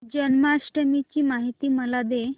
जन्माष्टमी ची माहिती मला दे